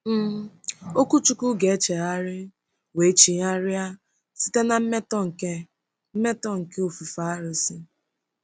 um Okwuchukwu ga-echegharị wee chigharịa site na mmetọ nke mmetọ nke ofufe arụsị?